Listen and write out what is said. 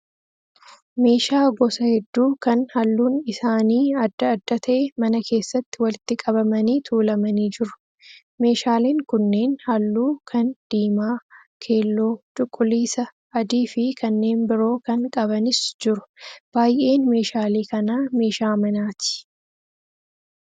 Meeshaa gosa hedduu kan halluun isaanii adda adda ta'e mana keessatti walitti qabamanii tuulamanii jiru. Meeshaaleen kunneen halluu kan diimaa, keelloo cuquliisa, adiifi kanneen biroo kan qabanis jiru. Baay'een meeshaalee kanaa meeshaa manaati.